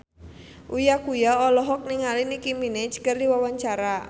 Uya Kuya olohok ningali Nicky Minaj keur diwawancara